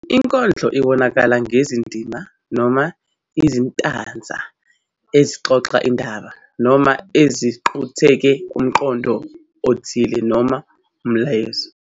Inkondlo ibonakala ngezindima noma izitanza ezixoxa indaba noma eziqukethe umqondo othile noma umyalezo.